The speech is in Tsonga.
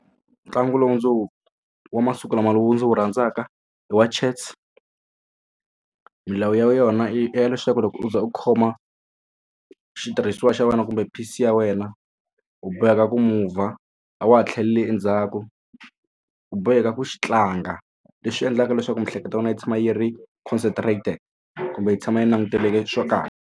Ntlangu lowu ndzi wu wa masiku lama lowu ndzi wu rhandzaka i wa chess milawu ya yona ya leswaku loko u za u khoma xitirhisiwa xa wena kumbe piece ya wena u boheka ku mover a wa ha tlheleli endzhaku u boheka ku xi tlanga leswi endlaka leswaku miehleketo ya wena yi tshama yi ri concentrated kumbe yi tshama yi languteleke swo .